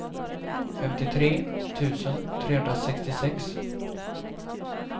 femtiotre tusen trehundrasextiosex